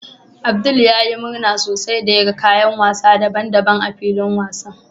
Abdul ya yi murna sosai da yagan kayan wasa daban-daban a filin wasan